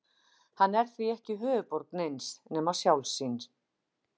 Hann er því ekki höfuðborg neins nema sjálfs sín.